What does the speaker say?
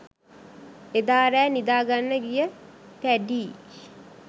එදා රෑ නිදාගන්න ගිය පැඞී